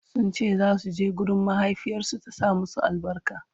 sunce zasu je gurin mahaifiyarsu ta sa musu albarka